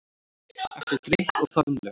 Eftir drykk og faðmlög.